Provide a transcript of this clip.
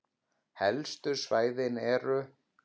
Helstu svæði eru